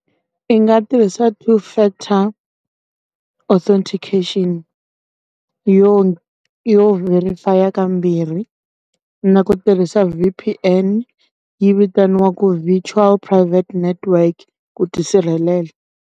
I nga tirhisa two factor authentication. Yo yo verify kambirhi, na ku tirhisa V_P_N yi vitaniwaku visual private network ku tisirhelela.